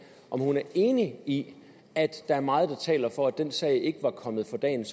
om hun er enig i at der er meget der taler for at den sag ikke var kommet for dagens